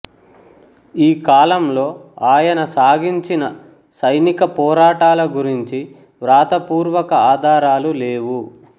ఈ కాలంలో ఆయన సాగించిన సైనిక పోరాటాల గురించి వ్రాతపూర్వక ఆధారాలు లేవు